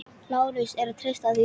LÁRUS: Er að treysta því?